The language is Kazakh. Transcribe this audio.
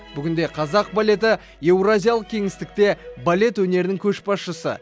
бүгінде қазақ балеті еуразиялық кеңістікте балет өнерінің көшбасшысы